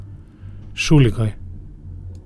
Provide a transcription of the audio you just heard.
Šuligoj.